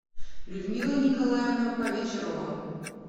людмила николаевна повечерова